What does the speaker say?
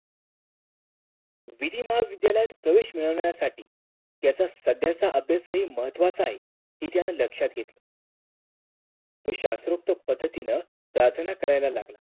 विधीमा विद्यालयात प्रवेश मिळवण्यासाठी याचा सगळ्याचा अभ्यासही महत्वाचा आहे ती त्यानं लक्षात घेतली तो शास्त्रोक्त पद्धतीनं प्रार्थना करायला लागला